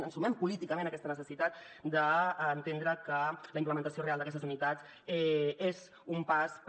ens sumem políticament a aquesta necessitat d’entendre que la implementació real d’aquestes unitats és un pas per